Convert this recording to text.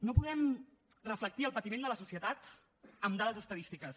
no podem reflectir el patiment de la societat amb dades estadístiques